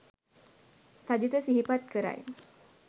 සජිත සිහිපත් කරයි